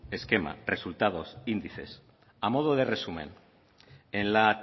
esquema resultados índices a modo de resumen en la